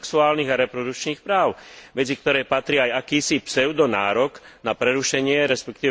sexuálnych a reprodukčných práv, medzi ktoré patrí aj akýsi pseudonárok na prerušenie, resp.